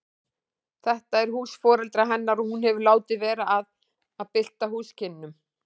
Þetta er hús foreldra hennar og hún hefur látið vera að bylta húsakynnum.